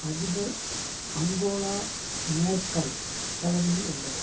அதிபர் Angela Merkel தலைமையில் உள்ளது